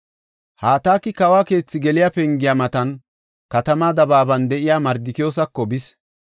Hataki kawo keethi geliya pengiya matan katamaa dabaaban de7iya Mardikiyoosako bis.